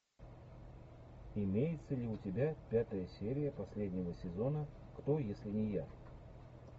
имеется ли у тебя пятая серия последнего сезона кто если не я